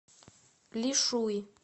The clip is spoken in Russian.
лишуй